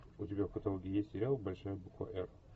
у тебя в каталоге есть сериал большая буква р